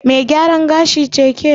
Mai gyaran gashi ce ke?